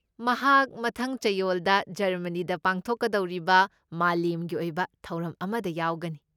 ꯃꯍꯥꯛ ꯃꯊꯪ ꯆꯌꯣꯜꯗ ꯖꯔꯃꯅꯤꯗ ꯄꯥꯡꯊꯣꯛꯀꯗꯧꯔꯤꯕ ꯃꯥꯂꯦꯝꯒꯤ ꯑꯣꯏꯕ ꯊꯧꯔꯝ ꯑꯃꯗ ꯌꯥꯎꯒꯅꯤ꯫